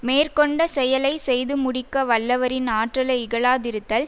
மேற்கொண்ட செயலை செய்து முடிக்க வல்லவரின் ஆற்றலை இகழாதிருத்தல்